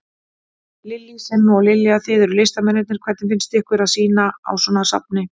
Lillý: Simmi og Lilja, þið eruð listamennirnir, hvernig finnst ykkur að sýna á svona safni?